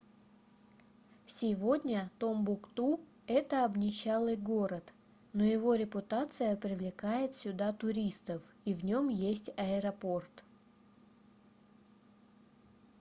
сегодня томбукту это обнищалый город но его репутация привлекает сюда туристов и в нем есть аэропорт